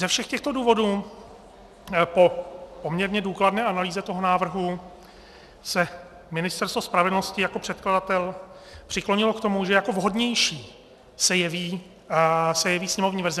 Ze všech těchto důvodů po poměrně důkladné analýze toho návrhu se Ministerstvo spravedlnosti jako předkladatel přiklonilo k tomu, že jako vhodnější se jeví sněmovní verze.